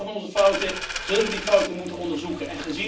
En om te leren van onze fouten zullen we die fouten moeten onderzoeken.